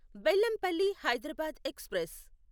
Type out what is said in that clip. Bellampalli Hyderabad express